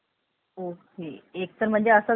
तर म्हणजे असं झालंय